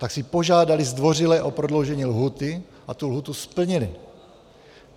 Tak si požádali zdvořile o prodloužení lhůty a tu lhůtu splnili.